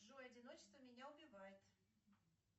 джой одиночество меня убивает